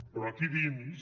però aquí dins